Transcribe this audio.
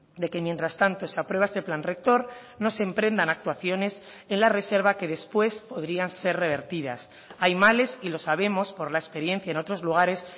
de que mientras tanto se aprueba este plan rector no se emprendan actuaciones en la reserva que después podrían ser revertidas hay males y lo sabemos por la experiencia en otros lugares